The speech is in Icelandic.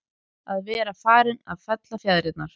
Að vera farinn að fella fjaðrirnar